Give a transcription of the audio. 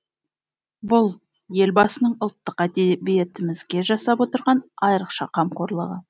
бұл елбасының ұлттық әдебиетімізге жасап отырған айрықша қамқорлығы